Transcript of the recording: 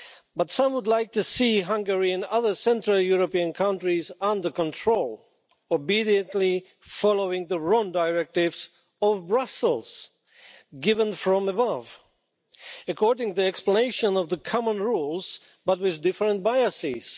But some would like to see Hungary and other central European countries under control, obediently following the wrong directives of Brussels given from above according to the explanation of the common rules, but with different biases.